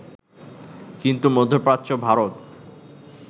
কিন্তু মধ্যপ্রাচ্য, ভারত